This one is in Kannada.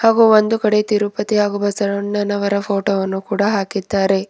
ಹಾಗೂ ಒಂದು ಕಡೆ ತಿರುಪತಿ ಹಾಗೂ ಬಸವಣ್ಣನವರ ಫೋಟೋ ವನ್ನು ಕೂಡ ಹಾಕಿದ್ದಾರೆ.